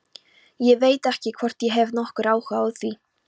Ég veit ekki hvort ég hef nokkurn áhuga á því.